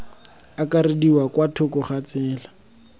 akarediwa kwa thoko ga tsela